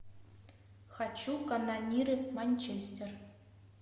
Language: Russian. хочу канониры манчестер